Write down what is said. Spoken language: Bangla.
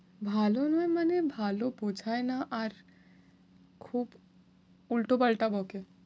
ভালো নয় মানে ভালো বোঝায় না আর খুব উল্টোপাল্টা বকে।